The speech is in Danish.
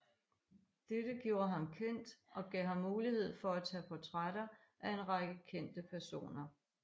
Dette gjorde ham kendt og gav ham mulighed for at tage portrætter af en række kendte personer